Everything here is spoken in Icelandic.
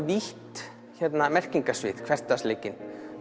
vítt merkingarsvið hversdagsleikinn